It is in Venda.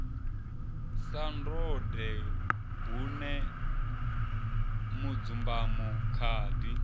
sa ndode bune mudzumbamo khadi